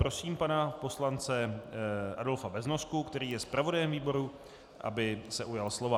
Prosím pana poslance Adolfa Beznosku, který je zpravodajem výboru, aby se ujal slova.